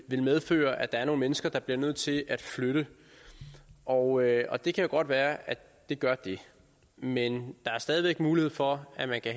ville medføre at der er nogle mennesker der bliver nødt til at flytte og og det kan jo godt være at det gør det men der er stadig væk mulighed for at man kan